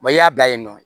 i y'a bila yen nɔ